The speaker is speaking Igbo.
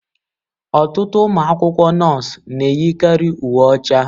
Ọtụtụ ụmụ akwụkwọ nọọsụ na-eyi karị uwe ọcha.